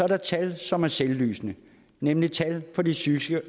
der et tal som er selvlysende nemlig tallet for de psykiske